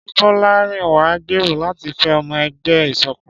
Ṣé Bolarinwa ń gbèrò láti fẹ́ ọmọ ẹgbẹ́ ìṣọ̀kan?